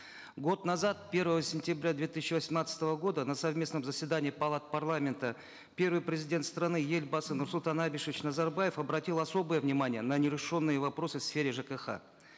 год назад первого сентября две тысячи восемнадцатого года на совместном заседании палат парламента первый президент страны елбасы нурсултан абишевич назарбаев обратил особое внимание на нерешенные вопросы в сфере жкх